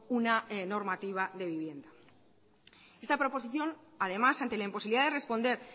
una normativa de vivienda esta proposición además ante la imposibilidad de responder